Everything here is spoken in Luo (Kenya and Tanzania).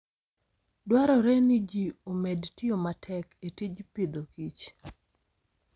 Dwarore ni ji omed tiyo matek e tij Agriculture and Food